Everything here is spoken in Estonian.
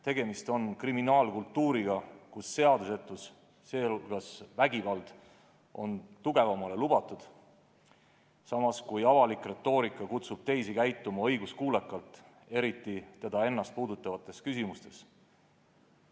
Tegemist on kriminaalkultuuriga, kus seadusetus, sh vägivald on tugevamale lubatud, samas kui avalik retoorika kutsub teisi riike üles käituma õiguskuulekalt, eriti Venemaad ennast puudutavates küsimustes.